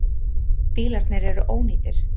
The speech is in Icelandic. Bílarnir eru ónýtir.